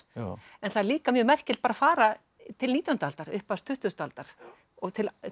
en það er líka mjög merkilegt að fara til nítjándu aldar upphafs tuttugustu aldar og